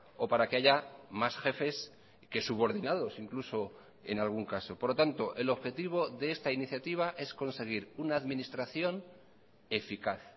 o para que haya más jefes que subordinados incluso en algún caso por lo tanto el objetivo de esta iniciativa es conseguir una administración eficaz